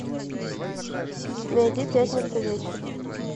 найди пятница вечер